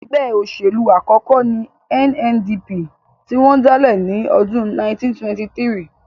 Ẹgbẹ́ òṣèlú àkọ́kọ́ ní NNDP tí wọ́n dálẹ̀ ní ọdún 1923